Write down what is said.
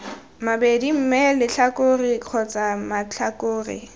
mabedi mme letlhakore kgotsa matlhakore